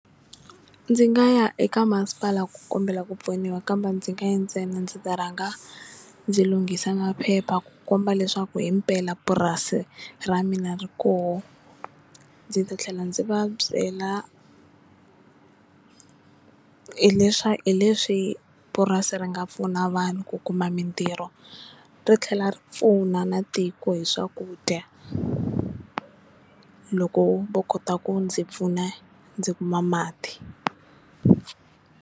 Ndzi nga ya eka masipala ku kombela ku pfuniwa kambe ndzi nga yi ntsena ndzi ta rhanga ndzi lunghisa maphepha ku komba leswaku hi mpela purasi ra mina ri koho ndzi ta tlhela ndzi va byela hi hi leswi purasi ri nga pfuna vanhu ku kuma mintirho ri tlhela ri pfuna na tiko hi swakudya loko vo kota ku ndzi pfuna ndzi kuma mati.